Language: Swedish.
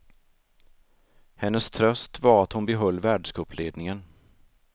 Hennes tröst var att hon behöll världscupledningen.